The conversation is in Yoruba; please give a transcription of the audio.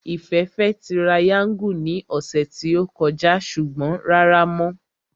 Ìfẹ́ fẹ́ tirayáńgù ní ọ̀sẹ̀ tí ó kọjá ṣùgbọ́n rárá mọ́